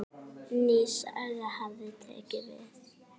Ný saga hafi tekið við.